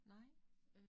Nej